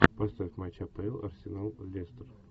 поставь матч апл арсенал лестер